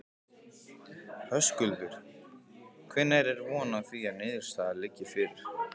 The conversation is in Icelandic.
Höskuldur: Hvenær er von á því að niðurstaða liggi fyrir?